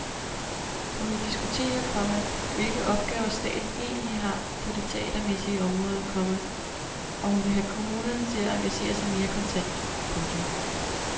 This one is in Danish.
Hun vil diskutere, komma hvilke opgaver staten egentlig har på det teatermæssige område, komma og hun vil have kommunerne til at engagere sig mere kontant. punktum